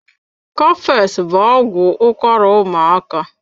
Cofex bụ ọgwụ ụkwara ụmaaka.